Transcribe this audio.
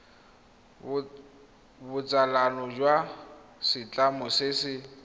botsalano jwa setlamo se se